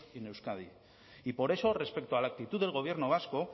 made in euskadi y por eso respecto a la actitud del gobierno vasco